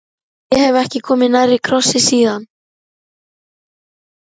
Ég hef ekki komið nærri krossi síðan.